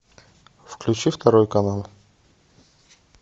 включи второй канал